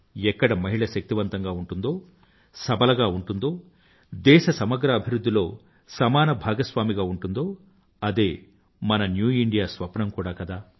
ఎక్కడ మహిళ శక్తివంతంగా ఉంటుందో సబలగా ఉంటుందో దేశ సమగ్ర అభివృధ్ధి లో సమాన భాగస్వామిగా ఉంటుందో అదే మన న్యూ ఇండియా స్వప్నం కూడా కదా